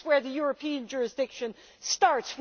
this is where the European jurisdiction starts.